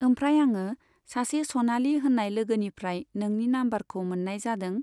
ओमफ्राय आङो सासे सनालि होननाय लोगोनिफ्राय नोंनि नाम्बारखौ मोननाय जादों।